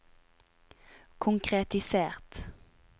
konkretisert